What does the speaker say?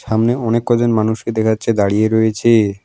সামনে অনেক কয় জন মানুষকে দেখা যাচ্ছে দাঁড়িয়ে রয়েচে।